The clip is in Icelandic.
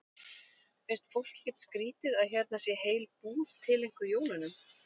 Finnst fólki ekkert skrýtið að hérna sé heil búð tileinkuð jólunum?